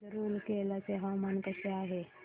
आज रूरकेला चे हवामान कसे आहे